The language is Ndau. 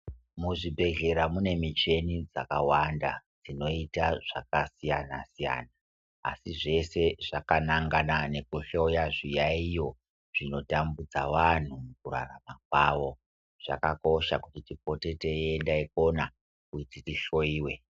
Muzvibhedhlera mune mishini dzakawanda dzinoita zvakasiyana siyana asi zvese zvakanangana nekuhloya zviyayiyo zvinotambudza vanhu mukurarama kwavo. Zvakakosha kuti tipote teienda ikona kuti tihloyiwe.